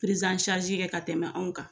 kɛ ka tɛmɛ anw kan